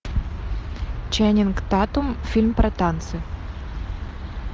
ченнинг татум фильм про танцы